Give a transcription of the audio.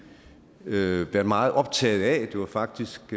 været meget optaget af det var faktisk